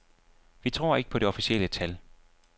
Vi tror ikke på det officielle tal.